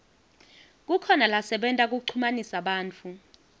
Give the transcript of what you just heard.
kukhona lasebenta kuchumanisa bantfu